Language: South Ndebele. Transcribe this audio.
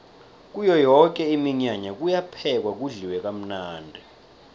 kuyo yoke iminyanya kuyaphekwa kudliwe kamnandi